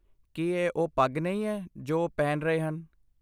ਕੀ ਇਹ ਉਹ ਪੱਗ ਨਹੀਂ ਹੈ ਜੋ ਉਹ ਪਹਿਨ ਰਹੇ ਹਨ?